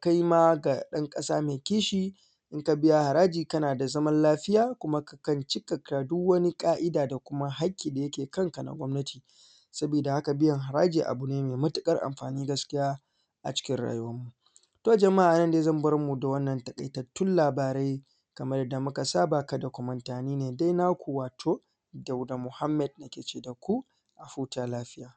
kai ma ɗan ƙasa mai kishi in ka biya haraji kana da zaman lafiya kuma kakan cika ka duk wani ƙa`ida da kuma haƙƙi da yake kanka na gwamnati sabida haka biyan haraji abu ne mai matuƙar amfani gaskiya a cikin rayuwan mu, to jama`a a nan ne zan barmu da wannan taƙaitattun labarai kamar yadda muka saba kada ku manta ni ne dai naku wato Dauda Muhammaed na ke ce daku mu huta lafiya.